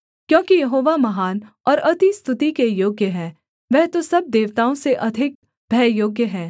क्योंकि यहोवा महान और अति स्तुति के योग्य है वह तो सब देवताओं से अधिक भययोग्य है